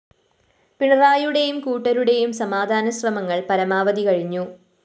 പിണറായിയുടെയും കൂട്ടരുടെയും സമാധാനശ്രമങ്ങള്‍ പരമാവധി കഴിഞ്ഞു